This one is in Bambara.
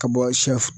Ka bɔ sɛ